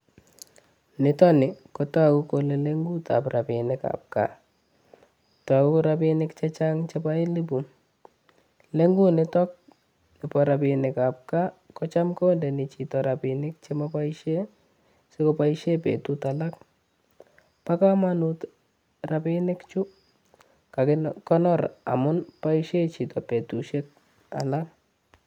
Nitoni, kotogu kole lengutab rabinik ab gaa. Togu rabinik chechang' chebo elepu. Ne ngunitok, ko rabinik ab gaa, kocham kondeni chito rabinik chemoboisie, sikoboishien betut alak. Pa komonut rabinikchu kakikonor amun boisien chito betushiek alak